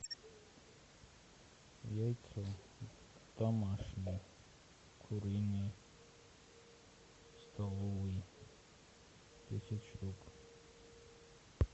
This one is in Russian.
яйца домашние куриные столовые десять штук